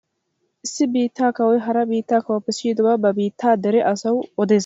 Issi biittaa kawoy hara biittaa kawuwaappe siyidobaa ba biittaa dere asawu odees.